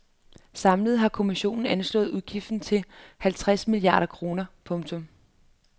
Samlet har kommissionen anslået udgiften til halvtreds milliarder kroner. punktum